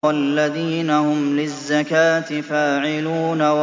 وَالَّذِينَ هُمْ لِلزَّكَاةِ فَاعِلُونَ